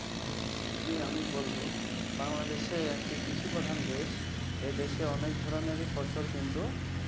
জ্বি, আমি বলবো। বাংলাদেশ একটি কৃষিপ্রধান দেশ। এ দেশে অনেক ধরনেরই ফসল কিন্তু